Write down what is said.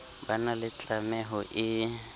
ba na le tlameho e